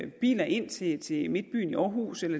biler ind til til midtbyen i aarhus eller